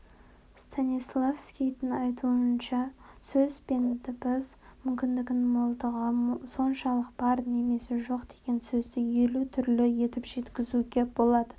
станиславскийдің айтуынша сөз бен дыбыс мүмкіндігінің молдығы соншалық бар немесе жоқ деген сөзді елу түрлі етіп жеткізе алуға